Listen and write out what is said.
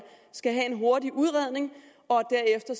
skal have en hurtig udredning og derefter